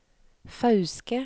Fauske